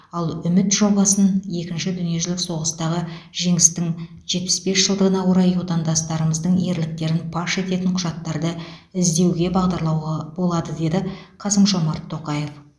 ал үміт жобасын екінші дүниежүзілік соғыстағы жеңістің жетпіс бес жылдығына орай отандастарымыздың ерліктерін паш ететін құжаттарды іздеуге бағдарлауға болады деді қасым жомарт тоқаев